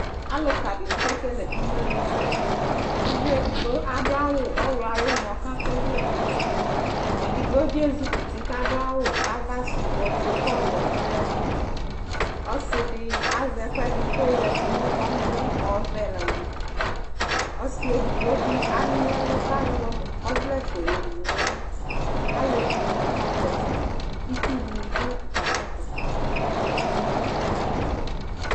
Alʋka dιnι kekele imenusɛUvi edigbo adʋ awʋ ɔwlɔ ayι ʋmɔ, kʋ akɔ ɔvlɛ nʋ uti, edigbo bι ezikɔ uti ku adʋ awʋ ava sʋ ofue kʋ ɔɔwɛ dʋ ayι ɛtʋ Ɔsi dι azɛ ɛkʋɛdι kʋ ayɔ yadu nʋ ɔmɔ, ɔɔvɛ la wutʋƆsι edigbo bι anyι ɛlʋ kʋ ayɔ ɔvlɛ fue yowu nʋ ʋlι Alevi dιnι kakpɔ ɔtsɛ, itsuuu dιnι dʋ atami ɛtʋ, ugli dι bι dʋ atami ɛtʋ